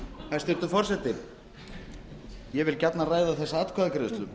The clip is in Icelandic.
hæstvirtur forseti ég vil gjarnan ræða þessa atkvæðagreiðslu